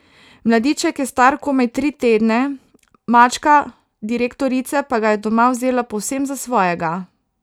Mladiček je star komaj tri tedne, mačka direktorice pa ga je doma vzela povsem za svojega.